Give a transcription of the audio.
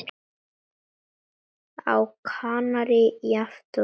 Á Kanarí jafnt og hér.